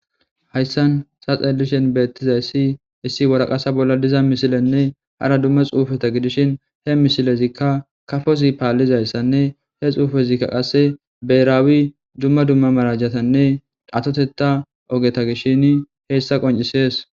hayssan saxelishen beettizayssi issi waraqasa bolla diza misilenne hara dumma xuufeta gidishin he misilezikka kafosi paallizayssanne he xuufezikka qasse beraawi dumma dumma marajatanne datoteta ogeta gishshini heessa qoncisees